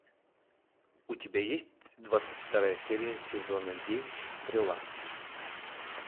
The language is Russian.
у тебя есть двадцать вторая серия сезона девять стрела